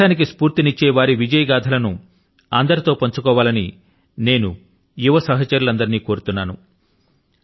దేశాని కి స్ఫూర్తి ని ఇచ్చే వారి విజయ గాథల ను అందరితో పంచుకోవాలని నేను యువ సహచరులందరినీ కోరుతున్నాను